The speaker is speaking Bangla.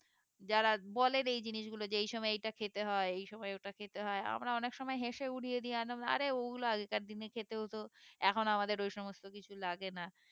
যারা বলেন এই জিনিসগুলো যে এই সময় এইটা খেতে হয়ে এই সময় ওইটা খেতে হয়ে আমরা অনেক সময় হেসে উড়িয়ে দিই একদম অরে অগুলো আগেকার দিনে খেতে হতো এখন আমাদের ওই সমস্ত কিছু লাগে না